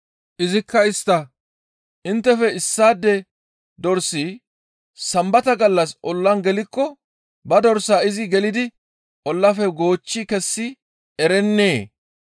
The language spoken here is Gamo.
Izikka istta, «Inttefe issaade dorsi Sambata gallas ollan gelikko ba dorsaa izi gelidi ollaafe goochchi kessi erennee?